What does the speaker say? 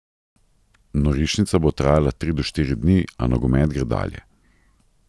Norišnica bo trajala tri do štiri dni, a nogomet gre dalje.